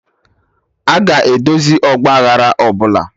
Aga edozi ọgba aghara ọbụla